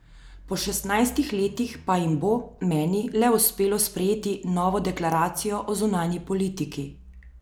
Po šestnajstih letih pa jim bo, meni, le uspelo sprejeti novo deklaracijo o zunanji politiki.